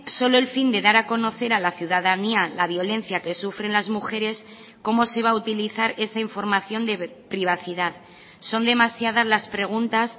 solo el fin de dar a conocer a la ciudadanía la violencia que sufren las mujeres cómo se va a utilizar esa información de privacidad son demasiadas las preguntas